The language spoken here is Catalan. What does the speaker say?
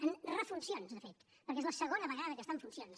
en refuncions de fet perquè és la segona vegada que està en funcions